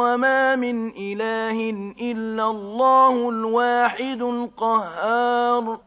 وَمَا مِنْ إِلَٰهٍ إِلَّا اللَّهُ الْوَاحِدُ الْقَهَّارُ